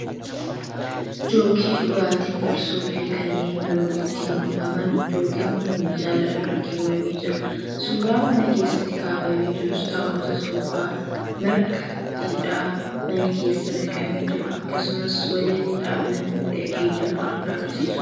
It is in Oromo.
Jookkii dhugaatiin farsoo fi kanneen biroo ittiin buufaman. Jookkiin kun minjaala irra keewwamee jira. Suuraan mana keessatti kaafamee jirus taa'umsa soofaa, marga jiidhaa mana keessa naqamee jiru akkasumas walaliidhaan mana miidhagee jiru kan argisiisudha.